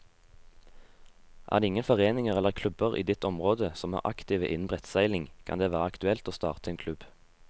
Er det ingen foreninger eller klubber i ditt område som er aktive innen brettseiling, kan det være aktuelt å starte en klubb.